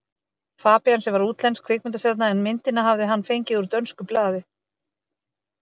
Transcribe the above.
Fabían, sem var útlensk kvikmyndastjarna, en myndina hafði hann fengið úr dönsku blaði.